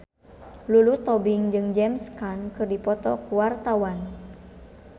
Lulu Tobing jeung James Caan keur dipoto ku wartawan